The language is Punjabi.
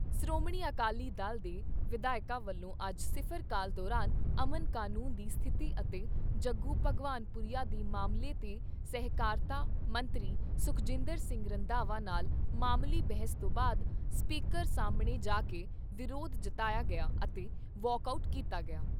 ਸ਼੍ਰੋਮਣੀ ਅਕਾਲੀ ਦਲ ਦੇ ਵਿਧਾਇਕਾਂ ਵੱਲੋਂ ਅੱਜ ਸਿਫ਼ਰ ਕਾਲ ਦੌਰਾਨ ਅਮਨ ਕਾਨੂੰਨ ਦੀ ਸਥਿਤੀ ਅਤੇ ਜੱਗੂ ਭਗਵਾਨ ਪੁਰੀਆ ਦੇ ਮਾਮਲੇ 'ਤੇ ਸਹਿਕਾਰਤਾ ਮੰਤਰੀ ਸੁਖਜਿੰਦਰ ਸਿੰਘ ਰੰਧਾਵਾ ਨਾਲ ਮਾਮੂਲੀ ਬਹਿਸ ਤੋਂ ਬਾਅਦ ਸਪੀਕਰ ਸਾਹਮਣੇ ਜਾ ਕੇ ਵਿਰੋਧ ਜਤਾਇਆ ਗਿਆ ਅਤੇ ਵਾਕ ਆਊਟ ਕੀਤਾ ਗਿਆ।